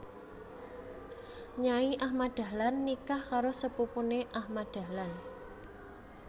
Nyai Ahmad Dahlan nikah karo sepupune Ahmad Dahlan